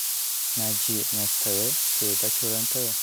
найди на тв передачу рен тв